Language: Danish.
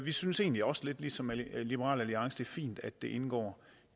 vi synes egentlig også lidt ligesom liberal alliance det er fint at det indgår